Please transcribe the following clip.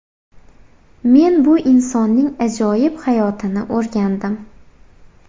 Men bu insonning ajoyib hayotini o‘rgandim.